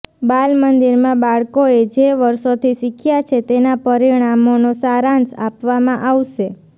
બાલમંદિરમાં બાળકોએ જે વર્ષોથી શીખ્યા છે તેના પરિણામોનો સારાંશ આપવામાં આવશે